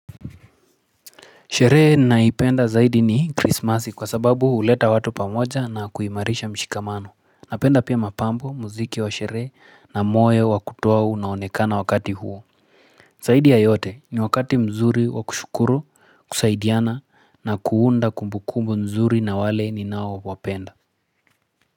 Sherehe naipenda zaidi ni krismasi kwa sababu huleta watu pamoja na kuimarisha mshikamano. Napenda pia mapambo, muziki wa sherehe na moyo wa kutoa unaonekana wakati huu. Zaidi ya yote ni wakati mzuri wa kushukuru, kusaidiana na kuunda kumbukumbu nzuri na wale ninaowapenda.